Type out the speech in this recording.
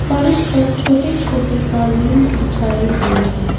फर्श पर छोटे छोटे कालीन बिछाए हुए हैं।